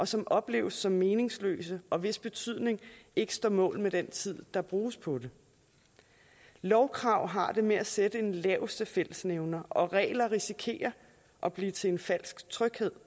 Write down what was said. som opleves som meningsløse og hvis betydning ikke står mål med den tid der bruges på det lovkrav har det med at sætte laveste fællesnævner og regler risikerer at blive til falsk tryghed